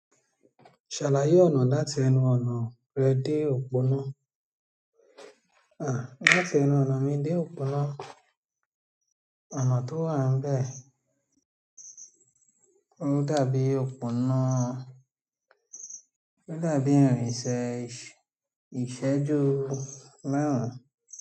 Ṣàlàyé ọ̀nà láti ẹnu ọ̀nà rẹ dé òpónà, àh láti ẹnu ọ̀nà mi dé òpónà, ọ̀nà tó wà nbẹ̀ ó dàbí òpónà, ó dàbí ìrìnsẹ̀ ìṣẹ́jú márùn.